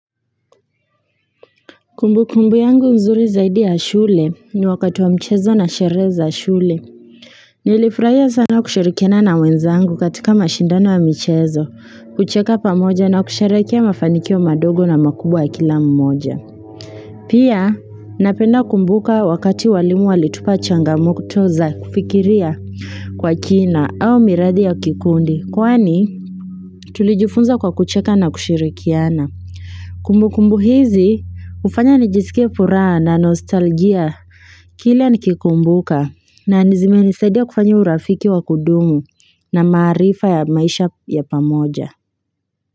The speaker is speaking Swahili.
Kumbukumbu yangu mzuri zaidi ya shule ni wakati wa mchezo na sherehe za shule. Nilifurahia sana kushirikiana na wenzangu katika mashindano wa mchezo, kucheka pamoja na kusherekea mafanikio madogo na makubwa kila mmoja. Pia, napenda kumbuka wakati walimu walitupa changamokto za kufikiria kwa kina au miradhi ya kikundi. Kwani, tulijufunza kwa kucheka na kushirikiana. Kumbukumbu hizi hufanya nijisikie furaha na nostalgia kile nikikumbuka na zimenisaidia kufanya urafiki wa kudumu na maarifa ya maisha ya pamoja.